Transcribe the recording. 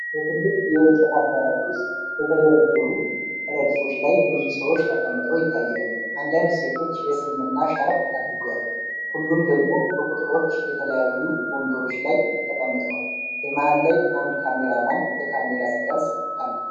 በትልቅ የእንጨት አዳራሽ ውስጥ በተደረደሩ ረድፎች ላይ ብዙ ሰዎች ተቀምጠው ይታያሉ። አንዳንድ ሴቶች የእስልምና ሻርፕ አድርገዋል፣ ሁሉም ደግሞ በቁጥሮች የተለዩ ወንበሮች ላይ ተቀምጠዋል። በመሀል ላይ አንድ ካሜራማን በካሜራ ሲቀርጽ አለ።